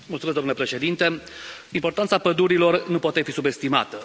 Domnule președinte, importanța pădurilor nu poate fi subestimată.